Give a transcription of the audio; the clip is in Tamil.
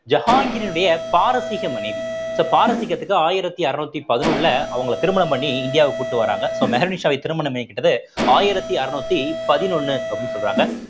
ஜஹாங்கிரினுடைய பாரசீக மனைவி so பாரசீகத்துக்கு ஆயிரத்தி அறநூத்தி பதினொண்ணுல அவங்களை திருமணம் பண்ணி இந்தியாவுக்கு கூட்டிட்டு வர்றாங்க so மெஹருநிஷாவை திருமணம் பண்ணிக்கிட்டது ஆயிரத்தி அறுநூத்தி பதினொண்ணு அப்படின்னு சொல்றாங்க